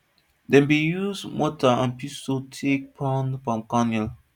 dem bin use mortar and pestle take pound palm kernel